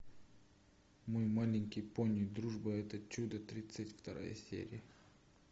мой маленький пони дружба это чудо тридцать вторая серия